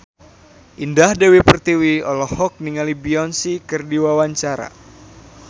Indah Dewi Pertiwi olohok ningali Beyonce keur diwawancara